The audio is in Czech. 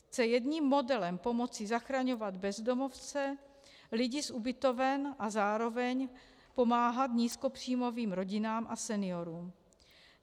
Chce jedním modelem pomoci zachraňovat bezdomovce, lidi z ubytoven a zároveň pomáhat nízkopříjmovým rodinám a seniorům.